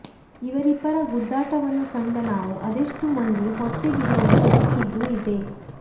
ಇವರಿಬ್ಬರ ಗುದ್ದಾಟವನ್ನು ಕಂಡ ನಾವು ಅದೆಷ್ಟೋ ಮಂದಿ ಹೊಟ್ಟೆ ಬಿರಿಯುವಂತೆ ನಕ್ಕಿದ್ದೂ ಇದೆ